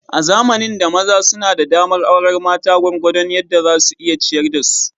A zamanin da, maza suna da damar aurar mata gwargwadon yadda za su iya ciyar da su.